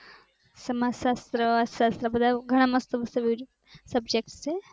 સમાજશાષત્ર એવા ઘણા બધા મસ્ત મસ્ત subject છે